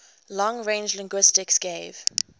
long range linguistics gave